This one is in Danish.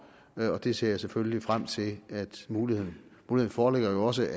og det ser jeg selvfølgelig frem til muligheden foreligger jo også